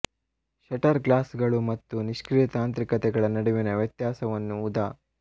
shutter ಗ್ಲಾಸ್ಗಳು ಮತ್ತು ನಿಷ್ಕ್ರಿಯ ತಾಂತ್ರಿಕತೆಗಳ ನಡುವಿನ ವ್ಯತ್ಯಾಸವನ್ನು ಉದಾ